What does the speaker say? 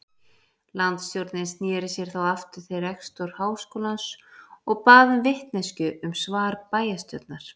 Landsstjórnin sneri sér þá aftur til rektors háskólans og bað um vitneskju um svar bæjarstjórnar.